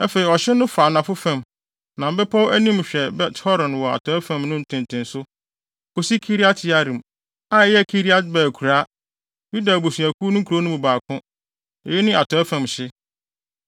Afei ɔhye no fa anafo fam, nam bepɔw a anim hwɛ Bet-Horon wɔ atɔe fam no ntentenso, kosi Kiriat-Yearim, a ɛyɛ Kiriat-Baal akuraa; Yuda abusuakuw no nkurow no mu baako. Eyi ne atɔe fam hye.